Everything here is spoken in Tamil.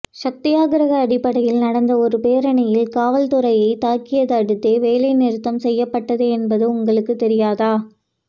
சத்தியாகிரக அடிப்படையில் நடந்த ஒரு பேரணியில் காவல்துறை தாக்கியதை அடுத்தே வேலை நிறுத்தம் செய்யப்பட்டது என்பது உங்களுக்கு தெரியாதா